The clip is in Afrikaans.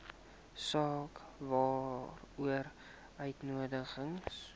saak waaroor uitnodigings